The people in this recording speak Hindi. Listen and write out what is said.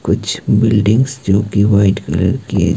कुछ बिल्डिंगस जो कि व्हाइट कलर की है।